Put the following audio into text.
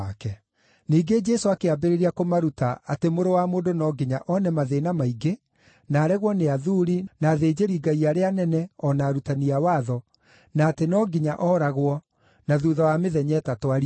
Ningĩ Jesũ akĩambĩrĩria kũmaruta atĩ Mũrũ wa Mũndũ no nginya one mathĩĩna maingĩ na aregwo nĩ athuuri, na athĩnjĩri-Ngai arĩa anene o na arutani a watho, na atĩ no nginya ooragwo, na thuutha wa mĩthenya ĩtatũ ariũke.